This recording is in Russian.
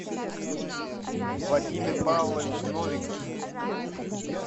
владимир павлович новиков